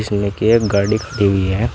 गाड़ी खड़ी हुई है।